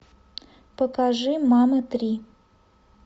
покажи мамы три